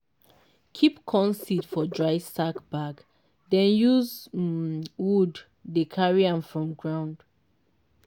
keep corn seed for dry sack bag den use um wood dey carry am from ground.